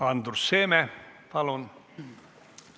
Andrus Seeme, palun!